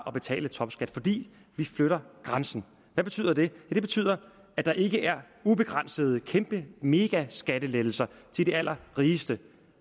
at betale topskat fordi vi flytter grænsen hvad betyder det jo det betyder at der ikke er ubegrænsede kæmpe megaskattelettelser til de allerrigeste